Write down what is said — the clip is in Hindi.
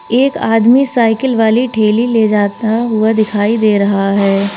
एक आदमी साइकिल वाली ठेली ले जाता हुआ दिखाई दे रहा है।